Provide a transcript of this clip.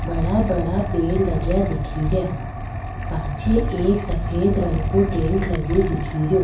बड़ा बड़ा पेड़ लगिया दिखेरा पाछे एक सफ़ेद रंग काे टेंट लगियो दिखेरो।